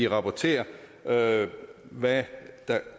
rapportere hvad hvad